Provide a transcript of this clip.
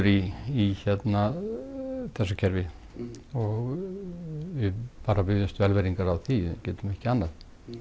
í þessu kerfi og við biðjumst velvirðingar á því getum ekki annað